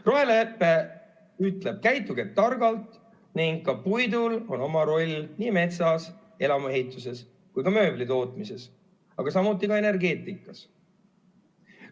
Rohelepe ütleb: käituge targalt, ning ka puidul on oma roll nii metsas, elamuehituses kui ka mööbli tootmises, aga ka energeetikas.